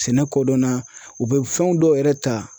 Sɛnɛ kodɔnna u bɛ fɛn dɔw yɛrɛ ta